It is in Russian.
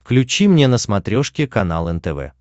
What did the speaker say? включи мне на смотрешке канал нтв